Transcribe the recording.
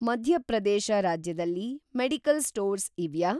ಮಧ್ಯ ಪ್ರದೇಶ ರಾಜ್ಯದಲ್ಲಿ medical stores ಇವ್ಯಾ?